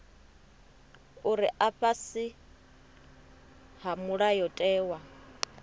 uri a fhasi ha mulayotewa